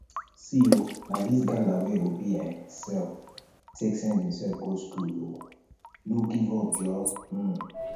see o na dis gala wey obi um sell take send himsef go skool um no give up joor um